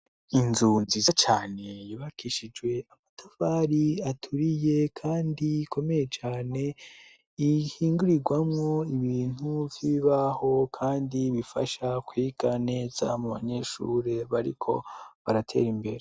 Inzu nziza cane yubakishijwe amatafari aturiye kandi ikomeye cane ihingurirwamo ibintu vy'ibaho kandi bifasha kwiga neza mu banyeshuri bariko baratera imbere.